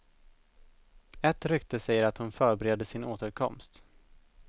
Ett rykte säger att hon förbereder sin återkomst.